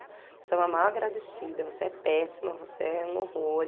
Você é uma má agradecida, você é péssima, você é um horror.